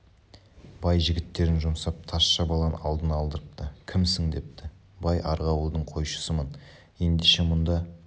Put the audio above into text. бай жігіттерін жұмсап тазша баланы алдына алдырыпты кімсің депті бай арғы ауылдың қойшысымын ендеше мұнда